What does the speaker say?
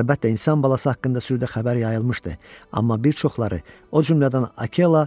Əlbəttə, insan balası haqqında sürüdə xəbər yayılmışdı, amma bir çoxları, o cümlədən Akela,